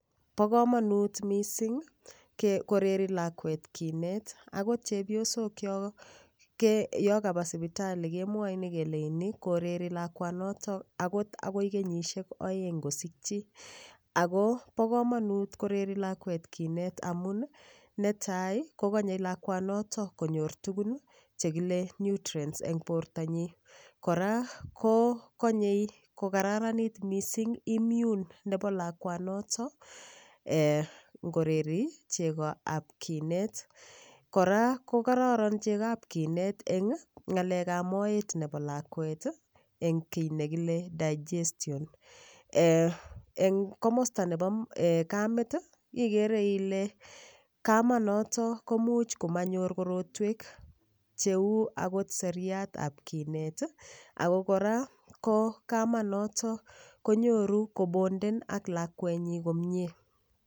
Po komonut mising koreri lakwet kinet akot chepyosok yo kapa sipitali kemwoini keleini koreri lakwanoto akot akoi kenyishek oeng ngosikchi ako po komonut koreri lakwet kinet amun netai kokonyei lakwanoto konyor tukun chekile nutrients eng borto nyii kora ko konyei kokararanit mising immune nepo lakwanoto ngoreri cheko ap kinet kora ko kororon cheko ap kinet eng ng'alek ap moet nepo lakwet eng kiy nekile digestion eng komosta nepo kamet ikere ile kamet noto komuch komanyoru korotwek cheu akot seriat ap kinet ako kora ko kamanoto konyoru ko bonden ak lakwet nyi komie